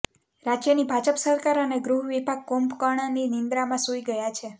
રાજ્યની ભાજપ સરકાર અને ગૃહ વિભાગ કુંભકર્ણની નિદ્રામાં સૂઈ ગયા છે